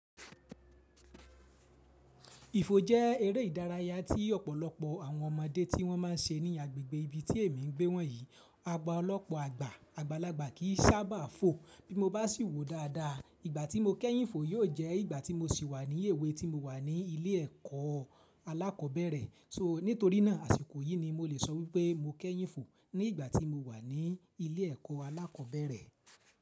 Ìfò jẹ́ eré ìdárayá tí ọ̀pọ̀lọpọ̀ àwọn ọmọdé tí wọ́n ma ń ṣe ní agbègbè ibi tí èmi ń gbé wọ̀nyí. Agba lọ́pọ̀ àgbà, àgbàlagbà kì í sábà fò. Bí mo bá sì wò dáadáa, ìgbà tí mo kẹ́yìn ìfò yóò jẹ́ ìgbà tí mo sì wà ní èwe tí mo wà ní ilé ẹ̀kọ́ alákọ̀bẹ̀rẹ̀. So, nítorí náà àsìkò yìí ni mo lè sọ wípé mo kẹ́yìn fò, ní ìgbà tí mo wà ní ilé ẹ̀kọ́ alákọ̀ọ́bẹ̀rẹ̀.